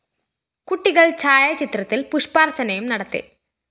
കുട്ടികള്‍ ഛായാചിത്രത്തില്‍ പുഷ്പാര്‍ച്ചനയും നടത്തി